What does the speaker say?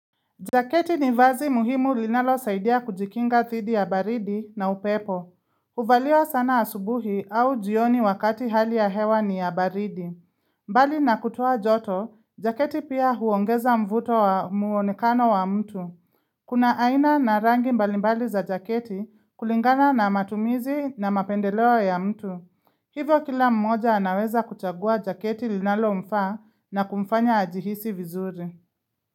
Jaketi ni vazi muhimu linalosaidia kujikinga dhidi ya baridi na upepo. Huvaliwa sana asubuhi au jioni wakati hali ya hewa ni ya baridi. Mbali na kutoa joto, jaketi pia huongeza mvuto wa muonekano wa mtu. Kuna aina na rangi mbalimbali za jaketi kulingana na matumizi na mapendeleo ya mtu. Hivyo kila mmoja anaweza kuchagua jaketi linalo mfaa na kumfanya ajihisi vizuri.